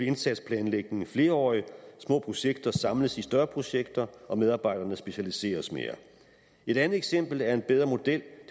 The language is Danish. indsatsplanlægning flerårig små projekter samles i større projekter og medarbejderne specialiseres mere et andet eksempel er en bedre model